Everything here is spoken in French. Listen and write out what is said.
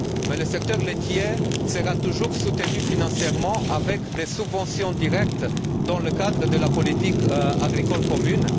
Mais le secteur laitier sera toujours soutenu financièrement par des subventions directes dans le cadre de la politique agricole commune.